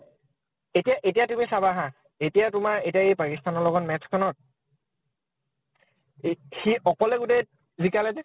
এতিয়া এতিয়া তুমি চাবা হা, এতিয়া তোমাৰ এতিয়া এই পাকিস্থানৰ লগত match খনত, এই সি অকলে গোটেই জিকালে নে।